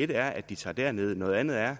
et er at de tager derned noget andet er